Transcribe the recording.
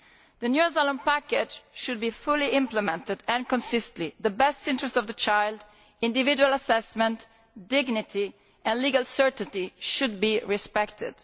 The new asylum package should be fully implemented and consistently so. The best interests of the child, individual assessment, dignity and legal certainty should be respected.